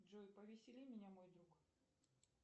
джой повесели меня мой друг